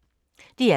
DR K